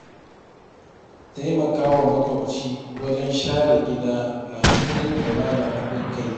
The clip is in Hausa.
Taimakawa makwabci wajen share gida na nuna ƙauna da haɗin kai.